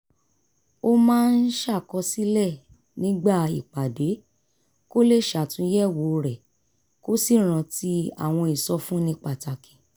ó máa ń ṣàkọsílẹ̀ nígbà ìpàdé kó lè ṣàtúnyẹ̀wò rẹ̀ kó sì rántí àwọn ìsọfúnni pàtàkì